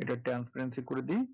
এটা transparancy করে দেই,